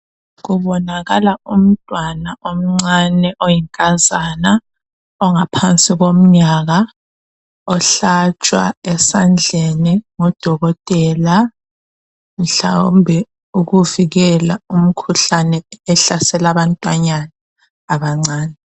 Kubonakala umntwana omncani oyinkazana ongaphansi komnyaka ohlatshwa esandleni ngudokotela mhlawumbe ukuvikela umkhuhlane ohlasela abantwanyana abancane.